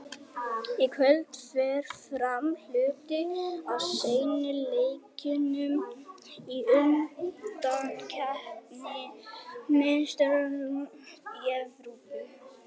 Í kvöld fer fram hluti af seinni leikjunum í undankeppni Meistaradeildar Evrópu.